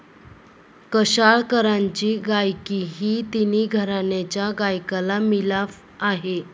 कशाळकरांची गायकी ही तिन्ही घराण्यांच्या गायकाचा मिलाफ आहे.